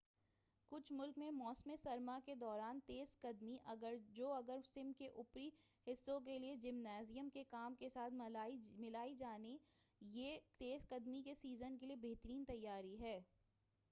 کچھ ملک میں موسم سرما کے دوران تیزقدمی جو اگر سم کے اوپری حصے کے لئے جمنازیم کے کام کے ساتھ ملائی جائے یہ تیزقدمی کے سیزن کے لئے بہترین تیاری ہے